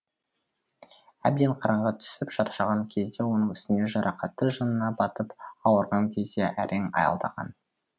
әбден қараңғы түсіп шаршаған кезде оның үстіне жарақаты жанына батып ауырған кезде әрең аялдаған